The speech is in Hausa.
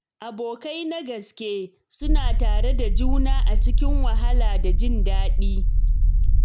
Abokai na gaske suna tare da juna a cikin wahala da jin daɗi.